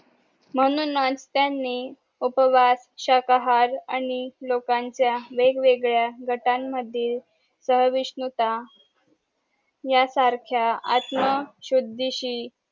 म्हणूनच त्यांनी उपवास शाकाहार आणि लोकांच्या वेग वेगळ्या गटानं मधील सहाविष्णूता ह्या सारख्या आत्म सुधीशी